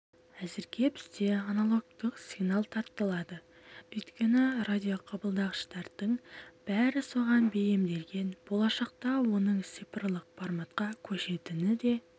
әзірге бізде аналогтық сигнал тартылады өйткені радиоқабылдағыштардың бәрі соған бейімделген болашақта оның цифрлы форматқа көшетіні де